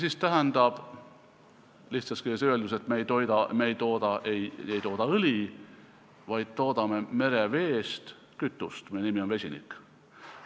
See tähendab lihtsas keeles öeldes, et me ei tooda õli, vaid toodame mereveest kütust, mille nimi on vesinik.